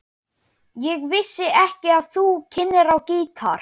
Ég vissi ekki að þú kynnir á gítar.